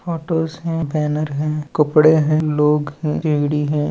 Photos हैं banner हैं कपड़े हैं लोग हैं पेड़ी हैं।